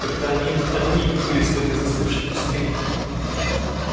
только они одни и двигались в этой застывшей пустыне